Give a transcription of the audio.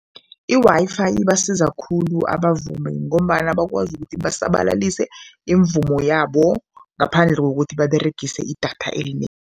I-Wi-Fi ibasiza khulu abavumi ngombana bakwazi ukuthi basabalalise imivumo yabo ngaphandle kokuthi baberegise idatha